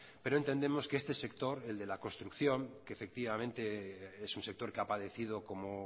pero entendemos que este sector el de la construcción que efectivamente es un sector que ha padecido como